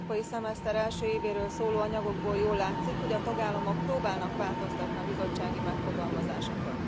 Az európai szemeszter első évéről szóló anyagokból jól látszik, hogy a tagállamok próbálnak változtatni a bizottsági megfogalmazásokon.